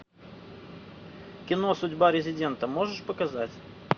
кино судьба резидента можешь показать